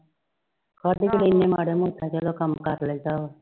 ਆਹੋ ਹੋਰ ਨੀ ਚੱਲੋ ਮਾੜਾ ਮੋਟਾ ਕੰਮ ਕਰ ਲਾਈਦਾ ਵਾ।